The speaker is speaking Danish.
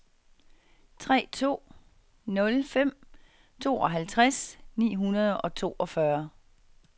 tre to nul fem tooghalvtreds ni hundrede og toogfyrre